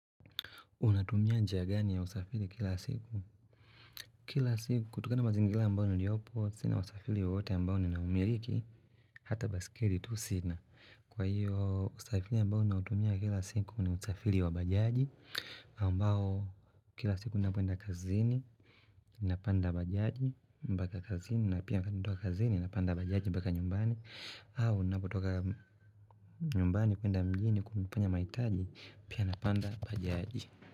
Unatumia njia gani ya usafiri kila siku? Kutokana na mazingira ambayo niliopo, sina usafiri wawowote ambao ninaumiliki Hata baiskeli tu sina Kwa hiyo usafiri ambao ninautumia kila siku ni usafiri wa bajaji ambao kila siku ninapoenda kazini napanda bajaji mpaka kazini na pia natoka kazini napanda bajaji mpaka nyumbani au ninapotoka nyumbani kwenda mjini kufanya mahitaji pia napanda bajaji.